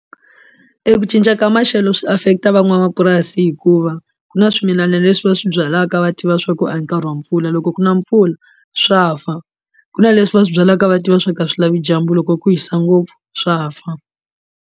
Eku cinca ka maxelo swi affect van'wamapurasi hikuva ku na swimilana leswi va swi byalaka va tiva swa ku a hi nkarhi wa mpfula loko ku na mpfula swa fa ku na leswi va swi byalaka va tiva swa ku a swi lavi dyambu loko ku hisa ngopfu swa fa.